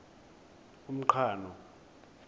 umqhano